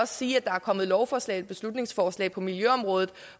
sige at der er kommet lovforslag eller beslutningsforslag på miljøområdet